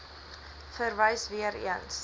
verwys weer eens